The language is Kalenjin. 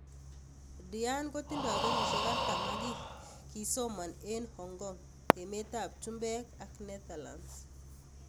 Diane kotindo kenyisiek artam ak ki, kisomon eng Hong Kong, emet ab chumbej ak Netherlands.